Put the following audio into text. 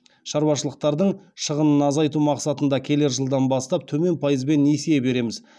шаруашылықтардың шығынын азайту мақсатында келер жылдан бастап төмен пайызбен несие береміз